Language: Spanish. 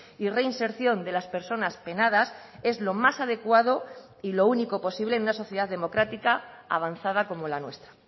y reinserción de las personas penadas es lo más adecuado y lo único posible en una sociedad democrática avanzada como la nuestra